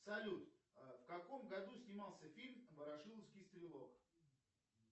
салют в каком году снимался фильм ворошиловский стрелок